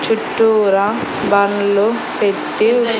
చుట్టూరా బండ్లు పెట్టి ఉ--